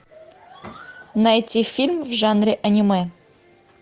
найти фильм в жанре аниме